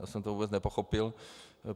Já jsem to vůbec nepochopil.